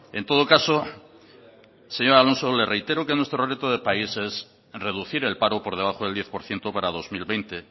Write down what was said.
en todo caso señor alonso le reitero que nuestro reto de país es reducir el paro por debajo del diez por ciento para dos mil veinte